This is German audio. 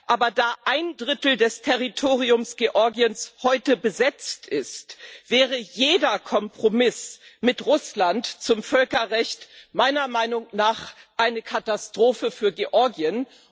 Aber da ein Drittel des Territoriums Georgiens heute besetzt ist, wäre jeder Kompromiss mit Russland zum Völkerrecht meiner Meinung nach eine Katastrophe für Georgien.